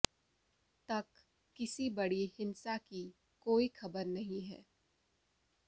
तक किसी बड़ी हिंसा की कोई खबर नहीं है